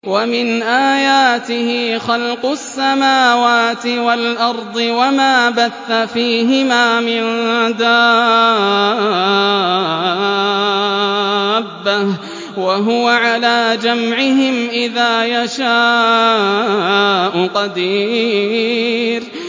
وَمِنْ آيَاتِهِ خَلْقُ السَّمَاوَاتِ وَالْأَرْضِ وَمَا بَثَّ فِيهِمَا مِن دَابَّةٍ ۚ وَهُوَ عَلَىٰ جَمْعِهِمْ إِذَا يَشَاءُ قَدِيرٌ